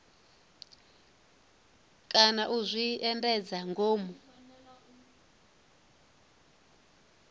kana u zwi endedza ngomu